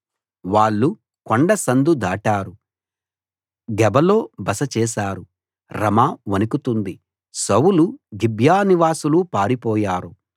వాళ్ళు కొండ సందు దాటారు గెబలో బస చేశారు రమా వణకుతోంది సౌలు గిబ్యా నివాసులు పారిపోయారు